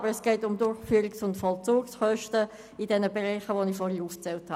Aber es geht um Durchführungs- und Vollzugskosten in den Bereichen, die ich zuvor aufgezählt habe.